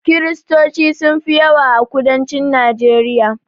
Kristoci sun fi yawa a kudancin najeriya